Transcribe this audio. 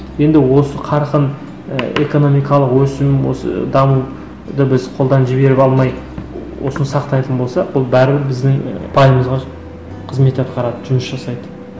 енді осы қарқын і экономикалық өсу осы дамуды біз қолдан жіберіп алмай осыны сақтайтын болсақ бұл бәрібір біздің і ұпайымызға қызмет атқарады жұмыс жасайды